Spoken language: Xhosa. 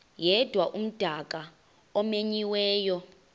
yedwa umdaka omenyiweyo